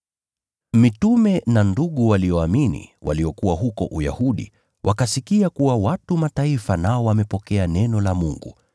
Mitume na ndugu walioamini waliokuwa huko Uyahudi wakasikia kuwa watu wa Mataifa nao wamepokea neno la Mungu.